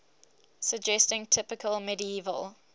suggesting typical medieval